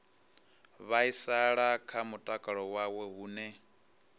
vhaisala kha mutakalo wawe hune